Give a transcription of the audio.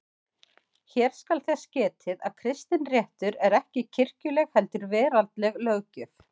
Hér skal þess getið að kristinréttur er ekki kirkjuleg heldur veraldleg löggjöf.